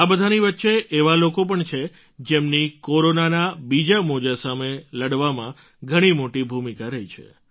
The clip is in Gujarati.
આ બધાની વચ્ચે એવા લોકો પણ છે જેમની કોરોનાના બીજા મોજા સામે લડવામાં ઘણી મોટી ભૂમિકા રહી છે